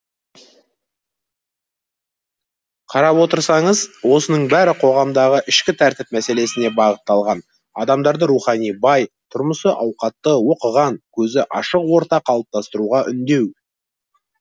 қарап отырсаңыз осының бәрі қоғамдағы ішкі тәртіп мәселесіне бағытталған адамдарды рухани бай тұрмысы ауқатты оқыған көзі ашық орта қалыптастыруға үндеу